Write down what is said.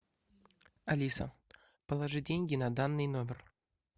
алиса положи деньги на данный номер